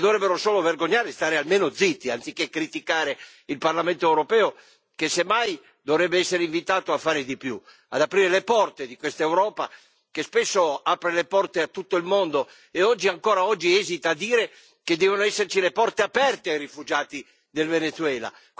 Si dovrebbero solo vergognare e stare almeno zitti, anziché criticare il Parlamento europeo, che semmai dovrebbe essere invitato a fare di più, ad aprire le porte di quest'Europa che spesso apre le porte a tutto il mondo, e ancora oggi esita a dire che devono esserci le porte aperte ai rifugiati del Venezuela.